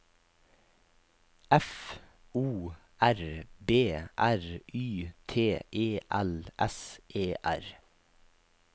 F O R B R Y T E L S E R